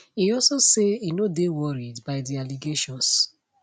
e also say e no dey worried by di allegations